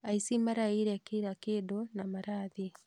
Aici maraiyire kila kĩndũ na marathiĩ